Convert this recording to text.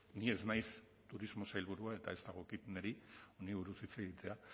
ni ez naiz turismo sailburua eta ez dagokit niri honi buruz hitz egitea